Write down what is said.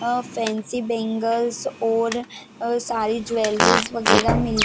अ fancy bangles और सारी jewelleries वगैरा मिलती--